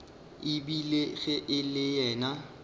ebile ge e le yena